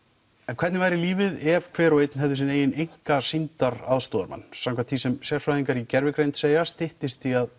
hvernig væri lífið ef hver og einn hefði sinn eigin einka sýndar aðstoðarmann samkvæmt því sem sérfræðingar í gervigreind segja styttist í að